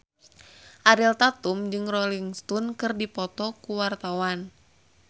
Ariel Tatum jeung Rolling Stone keur dipoto ku wartawan